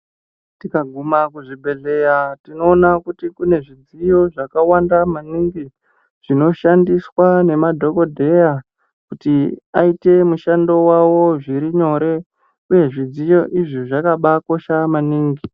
Tikaguma kuzvibhedhleya tinoona kuti kune zvidziyo zvakawanda maningi, zvinoshandiswa nemadhokodheya, kuti aite mushando wavo zviro nyore, uye zvidziyo izvi zvakabaakosha maningi.